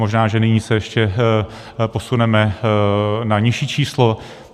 Možná že nyní se ještě posuneme na nižší číslo.